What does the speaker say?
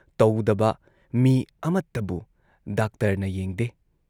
ꯇꯧꯗꯕ ꯃꯤ ꯑꯃꯠꯇꯕꯨ ꯗꯥꯛꯇꯔꯅ ꯌꯦꯡꯗꯦ ꯫